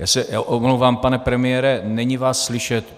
Já se omlouvám, pane premiére, není vás slyšet.